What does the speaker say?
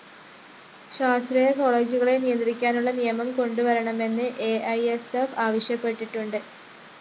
സ്വാശ്രയകോളേജുകളെ നിയന്ത്രിക്കാനുള്ള നിയമം കൊണ്ടുവരണമെന്ന് അ ഇ സ്‌ ഫ്‌ ആവശ്യപ്പെട്ടിട്ടുണ്ട്